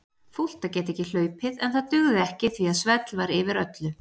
Fúlt að geta ekki hlaupið en það dugði ekki því að svell var yfir öllu.